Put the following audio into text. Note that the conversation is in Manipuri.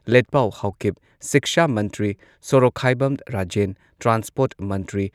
ꯂꯦꯠꯄꯥꯎ ꯍꯥꯎꯀꯤꯞ, ꯁꯤꯛꯁꯥ ꯃꯟꯇ꯭ꯔꯤ ꯁꯣꯔꯣꯛꯈꯥꯏꯕꯝ ꯔꯥꯖꯦꯟ, ꯇ꯭ꯔꯥꯟꯁꯄꯣꯔꯠ ꯃꯟꯇ꯭ꯔꯤ